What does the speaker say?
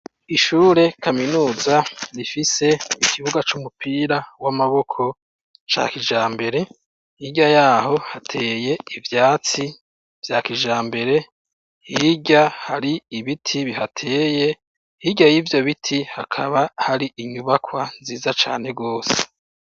Ishuri kaminuza rifise ikibuga c'umupira w'amaboko ca kijambere hirya yaho hateye ivyatsi vya kijambere hirya hari ibiti bihateye hirya yivyo biti hakaba hari inyubakwa nziza cane gose.